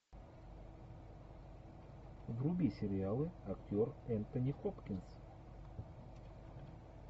вруби сериалы актер энтони хопкинс